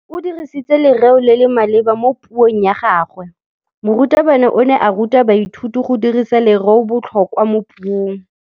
O dirisitse lerêo le le maleba mo puông ya gagwe. Morutabana o ne a ruta baithuti go dirisa lêrêôbotlhôkwa mo puong.